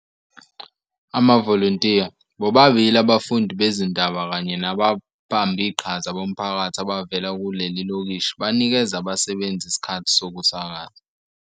Amavolontiya, bobabili abafundi bezindaba kanye nababambiqhaza bomphakathi abavela kuleli lokishi banikeza abasebenzi isikhathi sokusakaza.